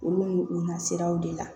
Olu u na siraw de la